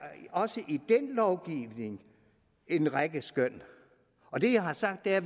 også i den lovgivning en række skøn og det jeg har sagt er